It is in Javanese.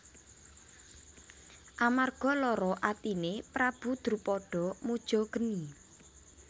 Amarga lara atine Prabu Drupada muja geni